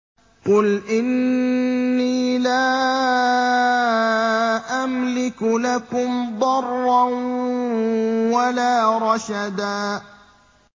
قُلْ إِنِّي لَا أَمْلِكُ لَكُمْ ضَرًّا وَلَا رَشَدًا